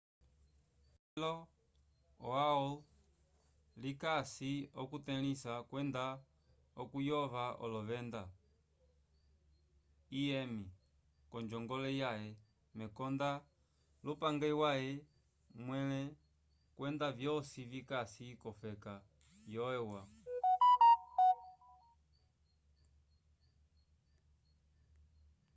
toke cilo o aol likasi okutelĩsa kwenda okuyova olovenda im k'onjongole yaye mekonda lyupange waye mwẽle kwenda vyosi vikasi k'ofeka yo eua